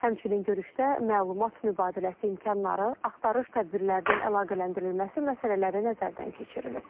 Həmçinin görüşdə məlumat mübadiləsi imkanları, axtarış tədbirlərinin əlaqələndirilməsi məsələləri nəzərdən keçirilib.